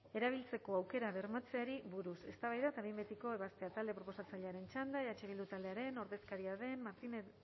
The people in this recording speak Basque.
erabiltzeko aukerak bermatzeari buruz eztabaida eta behin betiko ebaztea talde proposatzailearen txanda eh bildu taldearen ordezkaria den martinez